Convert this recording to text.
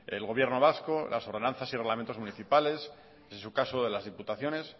el gobierno vasco las ordenanzas y reglamentos municipales en su caso de las diputaciones